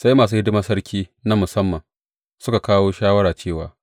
Sai masu hidimar sarki na musamman, suka kawo shawara cewa,